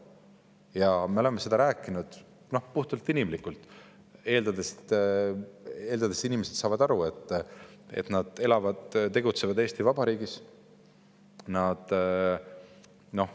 Ja me oleme seda rääkinud puhtalt inimlikult, eeldades, et inimesed saavad aru, et nad elavad ja tegutsevad Eesti Vabariigis.